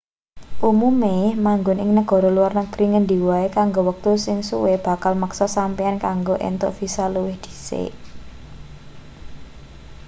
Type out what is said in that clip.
umume manggon ing negara luar negri ngendi wae kanggo wektu sing suwe bakal meksa sampeyan kanggo entuk visa luwih dhisik